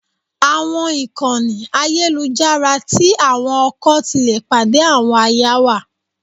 Àwọn ìkànnì ayélujára tí àwọn ọkọ ti le pàdé àwọn aya wà.